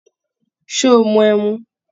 Ṣé o mu ẹmu?